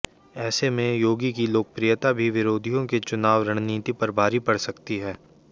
ऐसे में योगी की लोकप्रियता भी विरोधियों की चुनावी रणनीति पर भारी पड़ सकती है